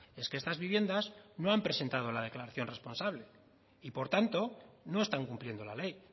es que estas viviendas no han presentado la declaración responsable y por tanto no están cumpliendo la ley